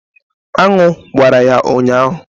Anụ gbara ya ụnyahụ.